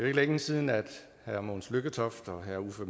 ikke længe siden at herre mogens lykketoft og herre uffe